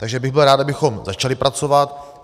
Takže bych byl rád, abychom začali pracovat.